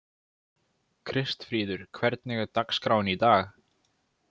Kristfríður, hvernig er dagskráin í dag?